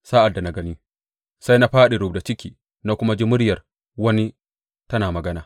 Sa’ad da na gani, sai na fāɗi rubda ciki, na kuma ji muryar wani tana magana.